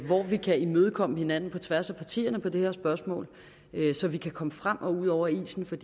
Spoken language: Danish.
hvor vi kan imødekomme hinanden på tværs af partierne med det her spørgsmål så vi kan komme frem og ud over isen for